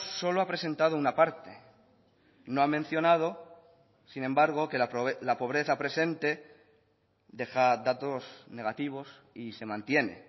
solo ha presentado una parte no ha mencionado sin embargo que la pobreza presente deja datos negativos y se mantiene